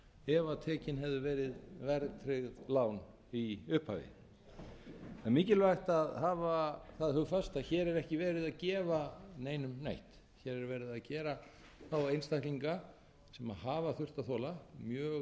ef tekin hefðu verið verðtryggð lán í upphafi það er mikilvægt að hafa það hugfast að hér er ekki verið að gefa neinum neitt hér er verið að gera þá einstaklinga sem hafa þurft að þola mjög